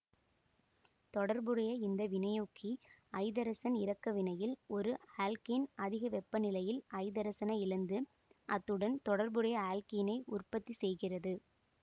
தொடர்புடைய இந்த வினையூக்கி ஐதரசன் இறக்க வினையில் ஒரு ஆல்க்கேன் அதிகவெப்பநிலையில் ஐதரசனை இழந்து அத்னுடன் தொடர்புடைய ஆல்க்கீனை உற்பத்தி செய்கிறது